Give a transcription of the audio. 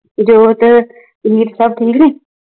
ਨਵਜੋ ਤੇ ਮੀਰ ਸਬ ਠੀਕ ਨੇ